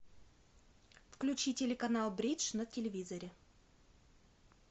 включи телеканал бридж на телевизоре